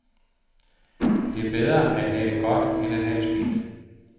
Det er bedre at have det godt end at have det skidt.